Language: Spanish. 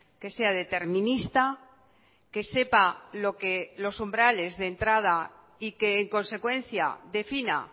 que sea determinista que sepa lo que los umbrales de entrada y que en consecuencia defina